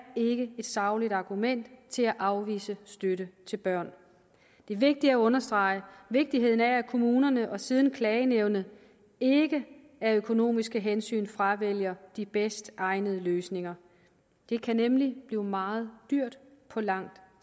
et sagligt argument til at afvise støtte til børn det er vigtigt at understrege vigtigheden af at kommunerne og siden klagenævnet ikke af økonomiske hensyn fravælger de bedst egnede løsninger det kan nemlig blive meget dyrt på lang